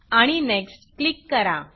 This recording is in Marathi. आणि Nextनेक्स्ट क्लिक करा